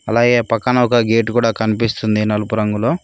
అలాగే పక్కన ఒక గేటు కూడా కనిపిస్తుంది నలుపు రంగులో.